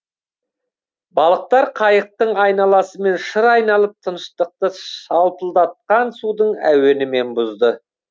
балықтар қайықтың айналасымен шыр айналып тыныштықты шалпылдатқан судың әуенімен бұзды